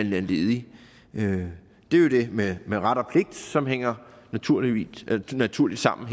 ledig det er jo det med med ret og pligt som hænger naturligt naturligt sammen